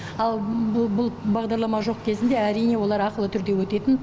ал бұл бағдарлама жоқ кезінде әрине олар ақылы түрде өтетін